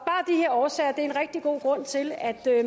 årsager er en rigtig god grund til at